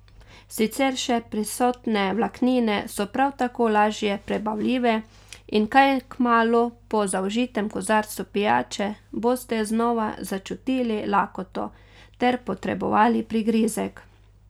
Sicer še prisotne vlaknine so prav tako lažje prebavljive in kaj kmalu po zaužitem kozarcu pijače boste znova začutili lakoto ter potrebovali prigrizek.